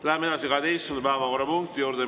Läheme 12. päevakorrapunkti juurde.